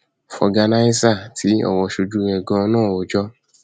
fọgànàìsà tí ọrọ sójú ẹ ganan náà rojọ